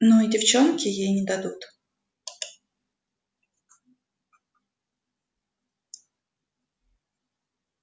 ну и девчонки ей не дадут